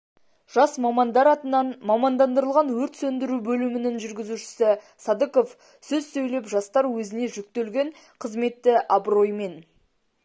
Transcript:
жас мамандар атынан мамандандырылған өрт сөндіру бөлімінің жүргізушісі садыков сөз сөйлеп жастар өзіне жүктелген қызметті абыроймен